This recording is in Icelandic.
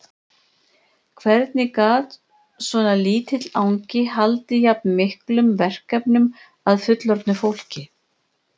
Hvernig gat svona lítill angi haldið jafn miklum verkefnum að fullorðnu fólki?